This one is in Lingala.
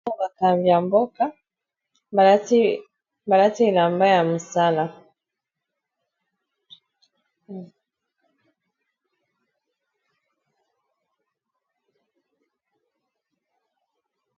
Bakambi ya mboka balati elamba ya musala.